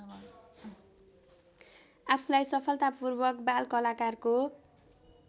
आफूलाई सफलतापूर्वक बालकलाकारको